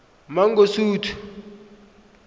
mangosuthu